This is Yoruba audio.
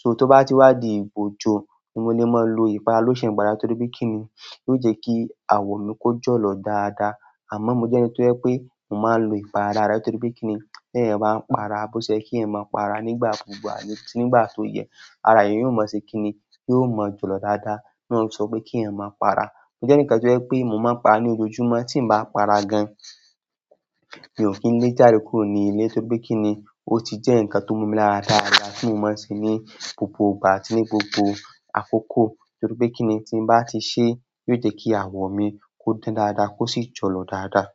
So tó bá ti wá di ìgbà ojo, ni mo lè máa lo ìpara lotion para. Torí pe kini yóò je ki awo mi ko jolo dada. Àmọ́ mo jẹ́ ẹni tó jẹ pé mo máa ń lo ìpara dada. Nítorí pé kí ni? Tí eeyan bá ń para, bó ṣe ye kí eeyan máa ń para nígbà gbogbo àti nígbà tó yẹ, ara eeyan yóò máa ṣe kí ni? Yóò mọ́ jọ̀lọ̀ dáadáa. Náà ni won fi sọ pé kí eeyan máa para. Mo jẹ́ ẹnikan tí ó jẹ pé mo máa ń para ní ojoojúmọ́. Tí n bá para gan, mi ò kí ń lé jáde kúró ni ilé. Nítorí pé kí ni? O ti je nkan ti o ma mi lára dada ti mo n maa n se ni gbogbo ìgbà àti ni gbogbo akoko. Nítorí pé kí ni? Tí n bá ti ṣe, yóò jẹ́ kí àwọ̀ mi kó dán dáadáa, kó sì jọ̀lọ̀ dáadáa.